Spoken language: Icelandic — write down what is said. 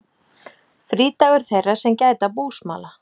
Frídagur þeirra sem gæta búsmala.